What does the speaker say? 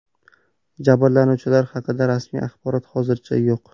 Jabrlanuvchilar haqida rasmiy axborot hozircha yo‘q.